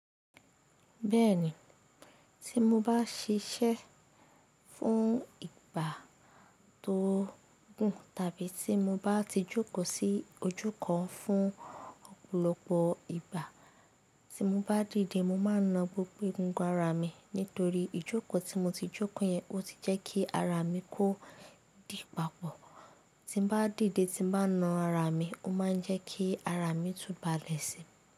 Bẹ́ẹ̀ni, tí mo bá ṣiṣẹ́ fún ìgbà tó gùn tàbí tí mo bá ti jókòó sí ojú kan fún ọ̀pọ̀lọpọ̀ ìgbà, tí mo bá dìde mo máa na gbogbo è gungun ara mi. Nítorí ìjókòó tí mo ti jókòó yẹn, ó ti jẹ́ kí ara mi ko dì papọ̀. Tí n bá dìde tí n bá na ara mi, ó máa ń jẹ́ kí ara mi túbalẹ̀ si.